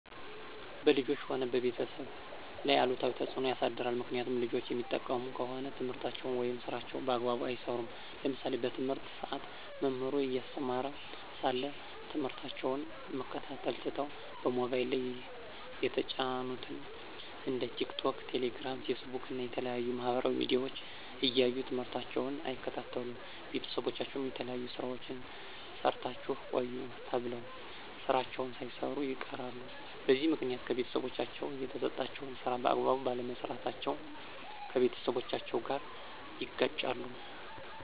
በልጆች ሆነ በቤተሰብ ላይ አሉታዊ ተፅዕኖ ያሳድራል። ምክኒያቱም ልጆች የሚጠቀሙ ከሆነ ትምህርታቸውን ወይም ስራቸውን በአግባቡ አይሰሩም። ለምሳሌ በትምህርት ሰአት መምህሩ እያስተማረ ሳለ ትምህርታቸውን መከታተል ትተው በሞባይል ላይ የተጫኑትን እንደ ቲክቶክ፣ ቴሌግራም፣ ፌስቡክ እና የተለያዩ የማህበራዊ ሚዲያዎች እያዩ ትምህርታቸውን አይከታተሉም። ቤተሰቦቻቸው የተለያዩ ስራዎችን ሰርታችሁ ቆዩ ተብለው ስራዎችን ሳይሰሩ ይቀራሉ። በዚህ ምክኒያት ከቤተሰቦቻቸው የተሰጣቸውን ስራ በአግባቡ ባለመስራታቸው ከቤተሰቦቻቸው ጋር ይጋጫሉ።